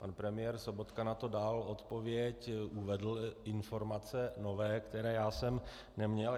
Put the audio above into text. Pan premiér Sobotka na to dal odpověď, uvedl informace nové, které já jsem neměl.